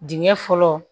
Dingɛ fɔlɔ